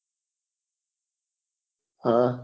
હા